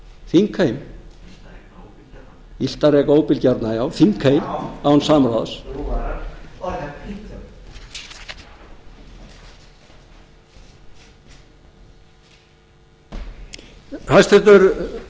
þingheim illt að reka óbilgjarnan illt að reka óbilgjarnan já þingheim án samráðs hæstvirts utanríkisráðherra segir síðar í þessari ræðu með leyfi